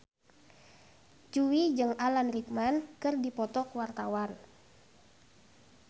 Jui jeung Alan Rickman keur dipoto ku wartawan